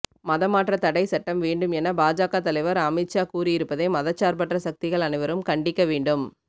மதமாற்றத் தடை சட்டம் வேண்டும் என பாஜக தலைவர் அமித் ஷா கூறியிருப்பதை மதச்சார்பற்ற சக்திகள் அனைவரும் கண்டிக்கவேண்டும்